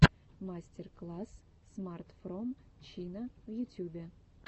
мастер класс смарт фром чина в ютюбе